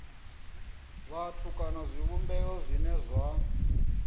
vhathu kana zwivhumbeo zwine zwa